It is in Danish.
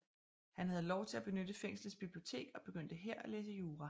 Han havde lov til at benytte fængslets bibliotek og begyndte her at læse jura